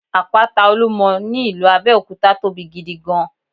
Àpáta Olúmo ní ìlú Abéòkúta tóbi gidi gan